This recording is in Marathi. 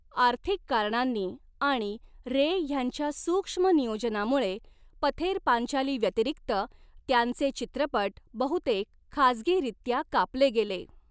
आर्थिक कारणांनी आणि रे ह्यांच्या सूक्ष्म नियोजनामुळे, पथेर पांचाली व्यतिरिक्त त्यांचे चित्रपट बहुतेक खाजगीरित्या कापले गेले.